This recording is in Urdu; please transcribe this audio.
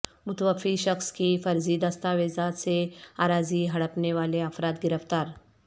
متوفی شخص کی فرضی دستاویزات سے اراضی ہڑپنے والے افراد گرفتار